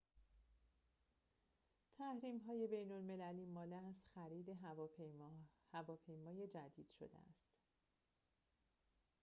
تحریم‌های بین‌المللی مانع از خرید هواپیمای جدید شده است